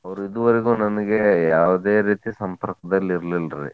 ಅವ್ರ್ ಇದುವರೆಗೂ ನನಗೆ ಯಾವುದೇ ರೀತಿ ಸಂಪರ್ಕದಲ್ಲಿ ಇರ್ಲಿಲ್ರಿ.